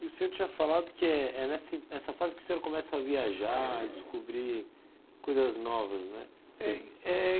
E o senhor tinha falado que é é nessa in nessa fase que o senhor começa a viajar, a descobrir coisas novas, né? Eh eh